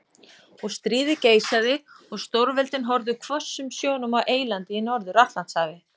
Og stríðið geisaði og stórveldin horfðu hvössum sjónum á eylandið í Norður-Atlantshafi.